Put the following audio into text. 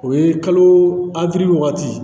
O ye kalo wagati